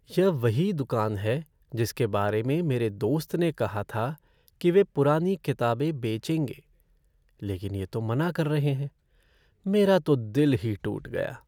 यह वही दुकान है जिसके बारे में मेरे दोस्त ने कहा था कि वे पुरानी किताबें बेचेंगे, लेकिन ये तो मना कर रहे हैं। मेरा तो दिल ही टूट गया।